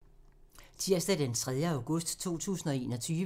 Tirsdag d. 3. august 2021